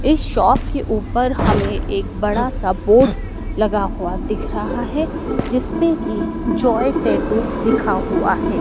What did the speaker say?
इस शॉप के ऊपर हमें एक बड़ा सा बोर्ड लगा हुआ दिख रहा है जिस पे कि जय टैटू लिखा हुआ है।